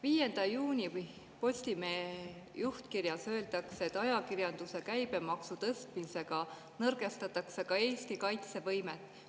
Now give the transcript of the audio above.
5. juunil Postimehe juhtkirjas öeldakse, et ajakirjanduse käibemaksu tõstmisega nõrgestatakse ka Eesti kaitsevõimet.